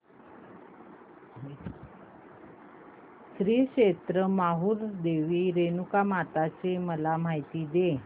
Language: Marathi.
श्री क्षेत्र माहूर देवी रेणुकामाता ची मला माहिती दे